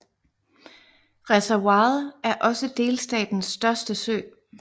Reservoiret er også delstatens største sø